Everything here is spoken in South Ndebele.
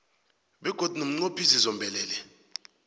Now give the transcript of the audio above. begodu nomnqophisi zombelele